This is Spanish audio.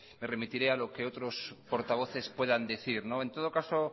me remitiré a lo que otros portavoces puedan decir en todo caso